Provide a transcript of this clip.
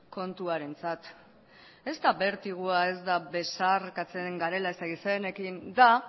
kontuarentzat ez da bertigoa ez da besarkatzen garela ez daki zeinekin da